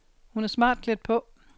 Hun er smart klædt på.